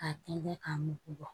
K'a tɛntɛn k'a mugu bɔ